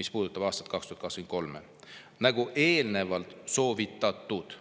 mis puudutasid aastat 2023: "nagu eelnevalt soovitatud".